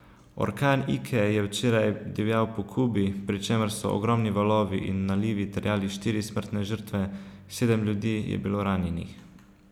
Orkan Ike je včeraj divjal po Kubi, pri čemer so ogromni valovi in nalivi terjali štiri smrtne žrtve, sedem ljudi je bilo ranjenih.